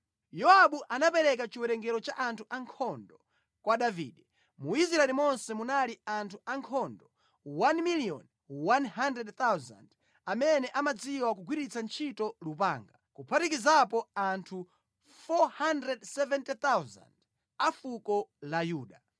Yowabu anapereka chiwerengero cha anthu ankhondo kwa Davide: Mu Israeli monse munali anthu ankhondo 1,100,000 amene amadziwa kugwiritsa ntchito lupanga, kuphatikizapo anthu 470,000 a fuko la Yuda.